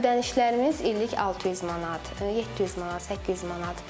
Ödənişlərimiz illik 600 manat, 700 manat, 800 manat.